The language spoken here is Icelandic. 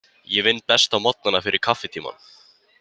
Ég vinn best á morgnana, fyrir fyrsta kaffitímann.